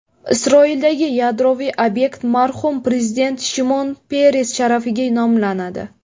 Isroildagi yadroviy obyekt marhum prezident Shimon Peres sharafiga nomlanadi.